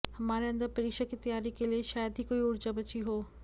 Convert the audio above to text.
हमारे अंदर परीक्षा की तैयारी के लिए शायद ही कोई ऊर्जा बची हो